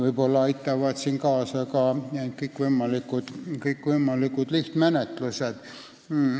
Võib-olla aitavad siin kaasa ka kõikvõimalikud kiiremad menetlused.